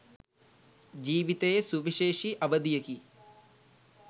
ජීවිතයේ සුවිශේෂි අවධියකි.